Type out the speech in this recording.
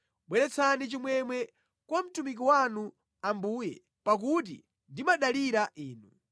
Bweretsani chimwemwe kwa mtumiki wanu, Ambuye, pakuti ndimadalira Inu.